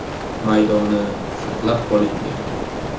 maydoni saqlab qolingan.